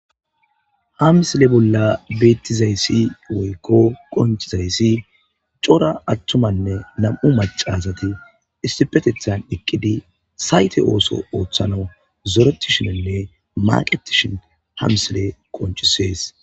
hamsile bolla beettizayssi woykko qonchizayssi cora attumanne nam7u macasati istipetethan eqqidi sayte ooso ooththana zoretishenenne maqetishen hamsile qonchisees